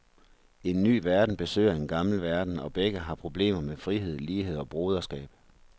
En ny verden besøger en gammel verden, og begge har problemer med frihed, lighed og broderskab.